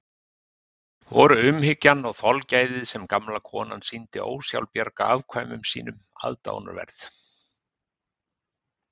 Voru umhyggjan og þolgæðið sem gamla konan sýndi ósjálfbjarga afkvæmum sínum aðdáunarverð.